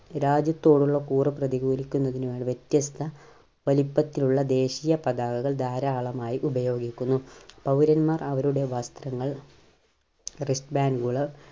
രാജ്യത്തോടുള്ള കൂർ പ്രതികൂലിക്കുന്നതിന് വേണ്ടി വ്യത്യസ്ത വലിപ്പത്തിലുള്ള ദേശീയ പതാകകൾ ധാരാളമായി ഉപയോഗിക്കുന്നു. പൗരന്മാർ അവരുടെ വസ്ത്രങ്ങൾ Wrist band കള്